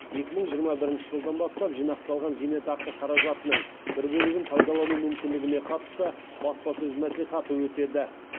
екі мың жиырма бірінші жылдан бастап жинақталған зейнетақы қаражатының бір бөлігін пайдалану мүмкіндігіне қатысты баспасөз мәслихаты өтеді